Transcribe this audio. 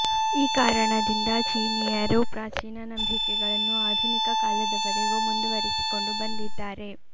ಈ ಕಾರಣದಿಂದ ಚೀನೀಯರು ಪ್ರಾಚೀನ ನಂಬಿಕೆಗಳನ್ನು ಆಧುನಿಕ ಕಾಲದವರೆಗೂ ಮುಂದುವರಿಸಿಕೊಂಡು ಬಂದಿದ್ದಾರೆ